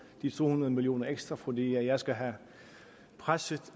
de to hundrede million kroner ekstra fordi jeg skal have presset